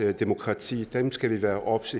demokrati dem skal vi være obs